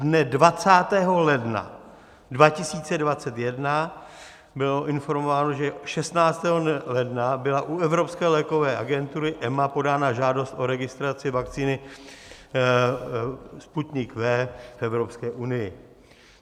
Dne 20. ledna 2021 bylo informováno, že 16. ledna byla u Evropské lékové agentury - EMA - podána žádost o registraci vakcíny Sputnik V v Evropské unii.